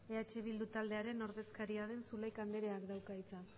eh bildu taldearen ordezkaria den zulaika andreak dauka hitza